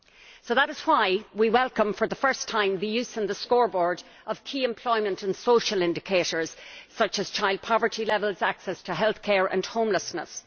So that is why we welcome, for the first time, the use on the scoreboard of key employment and social indicators such as child poverty levels, access to health care and homelessness.